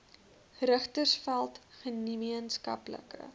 richtersveld gemeen skaplike